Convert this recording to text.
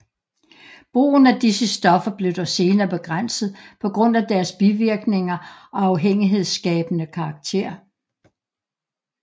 Brugen af disse stoffer blev dog senere begrænset på grund af deres bivirkninger og afhængighedsskabende karakter